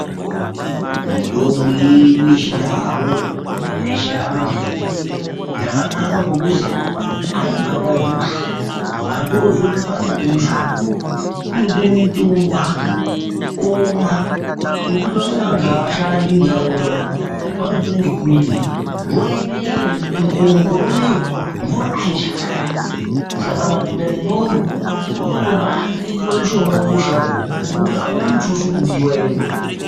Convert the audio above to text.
Mitombo yedu yechindau kana yechiantu yakanaka ngokuti aibhadharwi mare watozwe kupanda kemushana kungotore mutombo wake omwa ngekuti vamweni vantu avashandi muntaraunda umu vanopne nekurima, nguwa inei mukore unou mvura aichanayi saka madhodha nendombi kutoende oamushonga wedu wechiantu uyu ngokuti auna mutuso unodiweyo.